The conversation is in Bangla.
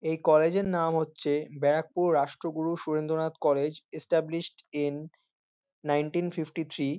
এই কলেজ এর নাম হচ্ছে Barrackpore Rashtraguru Surendranath college established in. Nineteen fifty three.